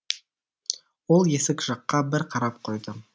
ол есік жаққа бір қарап қойды